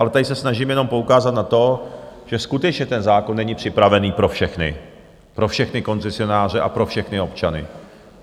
Ale tady se snažím jenom poukázat na to, že skutečně ten zákon není připravený pro všechny, pro všechny koncesionáře a pro všechny občany.